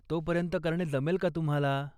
तो पर्यंत करणे जमेल का तुम्हाला?